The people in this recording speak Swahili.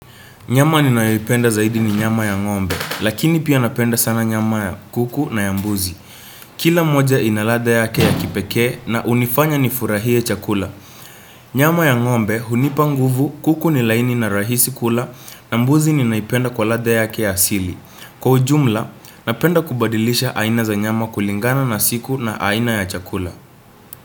Nyama ninayoipenda zaidi ni nyama ya ng'ombe, lakini pia napenda sana nyama ya kuku na ya mbuzi. Kila moja ina ladha yake ya kipekee na hunifanya nifurahie chakula. Nyama ya ng'ombe, hunipa nguvu, kuku ni laini na rahisi kula, na mbuzi ni naipenda kwa ladha yake ya asili. Kwa ujumla, napenda kubadilisha aina za nyama kulingana na siku na aina ya chakula.